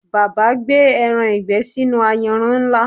Bàbá gbé ẹran ìgbẹ́ sínú ayanran ńlá